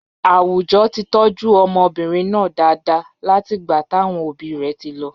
Àwùjọ ti tọ́jú ọmọbìnrin náà dáadáa látìgbà táwọn òbí rẹ̀ ti lọ.